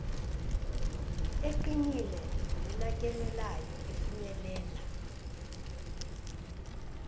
eqinile nenakekelayo efinyelela